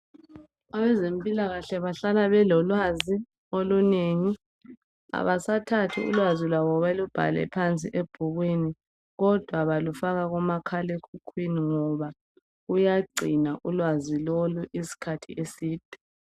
Abezempilakahle bahlala belolwazi olunengi. Abasathathi ulwazi lwabo balubhale phansi ebhukwini kodwa balufaka kumakhalekhukhwini ngoba uyagcina ulwazi lolu isikhathi eside.